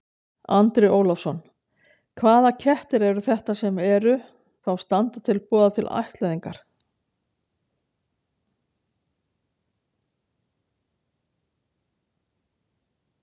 Andri Ólafsson: Hvaða kettir eru þetta sem að eru, þá standa til boða til ættleiðingar?